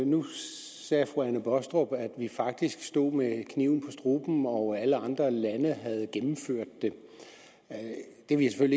nu sagde fru anne baastrup at vi faktisk stod med kniven for struben og at alle andre lande havde gennemført det det vil jeg